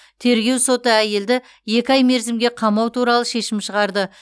тергеу соты әйелді екі ай мерзімге қамау туралы шешім шығарды